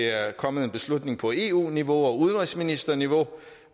er kommet en beslutning på eu niveau og udenrigsministerniveau